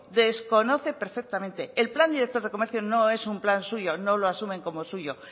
desconoce perfectamente el plan director de comercio no es un plan suyo no lo asumen como suyo